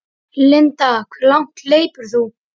Linda: Hve langt hleypur þú?